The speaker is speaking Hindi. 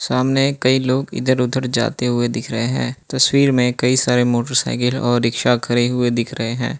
सामने कई लोग इधर उधर जाते हुए दिख रहे हैं तस्वीर में कई सारे मोटरसाइकिल और रिक्शा खड़े हुए दिख रहे हैं।